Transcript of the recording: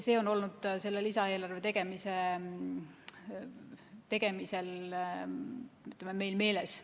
See on olnud selle lisaeelarve tegemisel meil meeles.